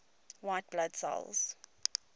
white blood cells